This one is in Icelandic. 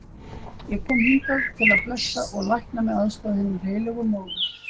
Ég kom hingað til að blessa og lækna með aðstoð hinnar heilögu móður.